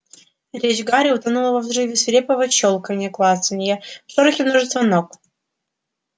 речь гарри утонула во взрыве свирепого щёлканья клацанья в шорохе множества ног